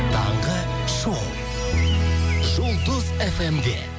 таңғы шоу жұлдыз фм де